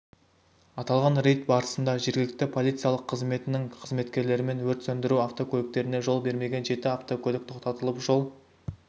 аталған рейд барысында жергілікті полициялық қызметінің қызметкерлерімен өрт сөндіру автокөліктеріне жол бермеген жеті автокөлік тоқтатылып жол